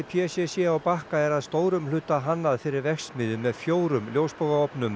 p c c á Bakka er að stórum hluta hannað fyrir verksmiðju með fjórum